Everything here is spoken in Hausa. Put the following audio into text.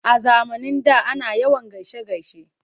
A zamanin da ana yawan gaishe-gaishe.